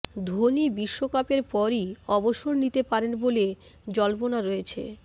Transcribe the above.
ধোনি বিশ্বকাপের পরই অবসর নিতে পারেন বলে জল্পনা রয়েছে